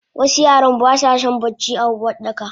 Wasu yaran basason bacci a Uwardaka.